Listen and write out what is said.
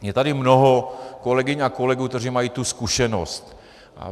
Je tady mnoho kolegyň a kolegů, kteří mají tu zkušenost.